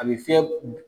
A bɛ fiyɛ